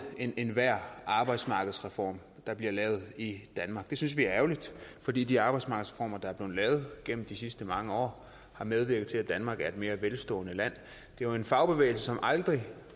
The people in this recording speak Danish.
enhver arbejdsmarkedsreform der bliver lavet i danmark det synes vi er ærgerligt fordi de arbejdsmarkedsreformer der er blevet lavet gennem de sidste mange år har medvirket til at danmark er et mere velstående land det er jo en fagbevægelse som aldrig